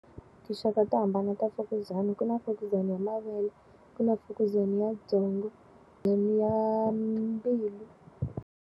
Tinxaka to hambana ta mfukuzana. Ku na fukuzana ya mavele, ku na fukuzana ya byongo ya mbilu.